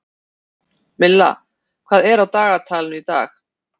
Milla, hvað er á dagatalinu í dag?